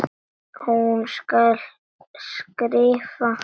Hún skal skrifa!